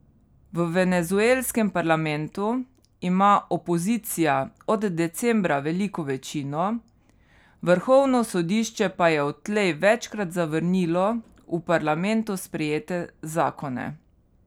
V venezuelskem parlamentu ima opozicija od decembra veliko večino, vrhovno sodišče pa je odtlej večkrat zavrnilo v parlamentu sprejete zakone.